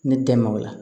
Ne den ma o la